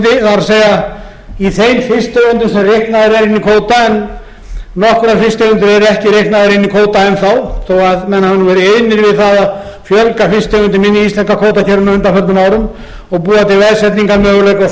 það er í þeim fisktegundum sem reiknaðar eru inn í kvóta en nokkrar fisktegundir eru ekki reiknaðar inn í kvóta enn þó að menn hafi verið iðnir við það að fjölga fisktegundum inni í íslenska kvótakerfinu á undanförnum árum og búa til